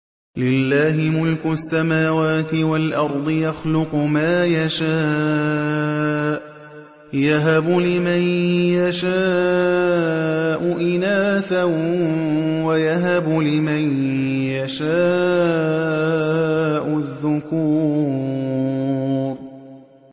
لِّلَّهِ مُلْكُ السَّمَاوَاتِ وَالْأَرْضِ ۚ يَخْلُقُ مَا يَشَاءُ ۚ يَهَبُ لِمَن يَشَاءُ إِنَاثًا وَيَهَبُ لِمَن يَشَاءُ الذُّكُورَ